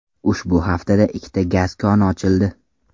Ushbu haftada ikkita gaz koni ochildi.